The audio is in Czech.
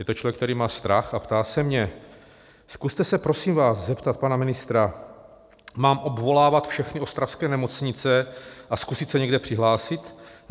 Je to člověk, který má strach, a ptá se mě: Zkuste se, prosím vás, zeptat pana ministra, mám obvolávat všechny ostravské nemocnice a zkusit se někde přihlásit?